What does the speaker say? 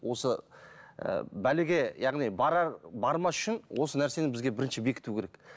осыы бәлеге яғни бармас үшін осы нәрсені бізге бірінші бекіту керек